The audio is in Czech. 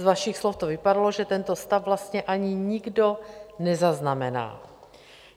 Z vašich slov to vypadalo, že tento stav vlastně nikdo ani nezaznamená.